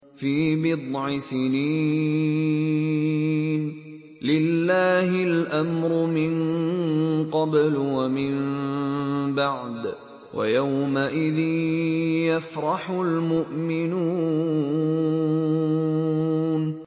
فِي بِضْعِ سِنِينَ ۗ لِلَّهِ الْأَمْرُ مِن قَبْلُ وَمِن بَعْدُ ۚ وَيَوْمَئِذٍ يَفْرَحُ الْمُؤْمِنُونَ